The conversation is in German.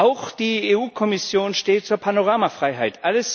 Auch die EU Kommission steht zur Panoramafreiheit.